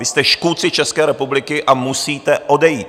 Vy jste škůdci České republiky a musíte odejít.